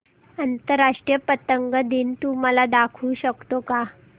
आंतरराष्ट्रीय पतंग दिन तू मला दाखवू शकतो का